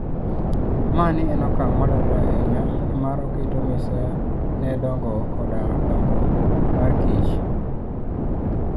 Mani en okang' madwarore ahinya, nimar oketo mise ne dongo koda dongo markich